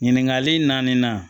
Ɲininkali naani na